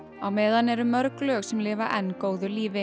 á meðan eru mörg lög sem lifa enn góðu lífi